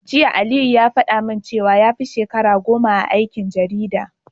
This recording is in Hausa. Jiya Aliyu ya faɗa min cewa yafi shekara goma a aikin jarida.